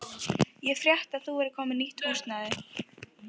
Ég frétti að þú værir komin með nýtt húsnæði.